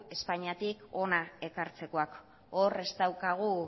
espainiatik hona ekartzekoak hor ez daukagu